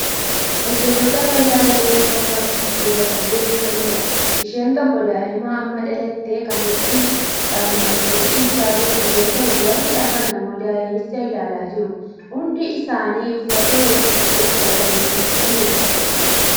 Hajjattoota fayyaa garee tokko kan dubartii deessisanidha. Isheen tokko daa'ima amma dhalate kan huccuudhaan martee ciibsaa jirtu yoo ta'u warri hafan ammoo daa'imicha ilaalaa jiru. Hundi isaanii uffata hojii uffatanii jiru.